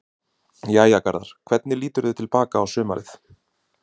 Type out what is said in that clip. Jæja Garðar, hvernig líturðu til baka á sumarið?